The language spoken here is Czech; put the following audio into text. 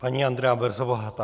Paní Andrea Brzobohatá.